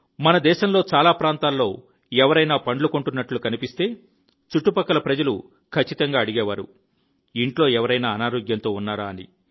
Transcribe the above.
మన దేశంలో చాలా ప్రాంతాల్లో ఎవరైనా పండ్లు కొంటున్నట్లు కనిపిస్తే చుట్టుపక్కల ప్రజలు ఖచ్చితంగా అడిగేవారు ఇంట్లో ఎవరైనా అనారోగ్యంతో ఉన్నారా అని